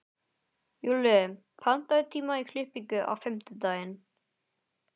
Júlli, pantaðu tíma í klippingu á fimmtudaginn.